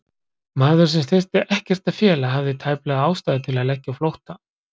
Maður, sem þyrfti ekkert að fela, hafði tæplega ástæðu til að leggja á flótta?